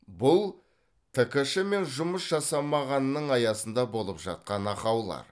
бұл ткш мен жұмыс жасамағанның аясында болып жатқан ақаулар